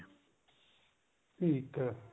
ਠੀਕ ਹੈ